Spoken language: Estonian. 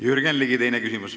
Jürgen Ligi, teine küsimus.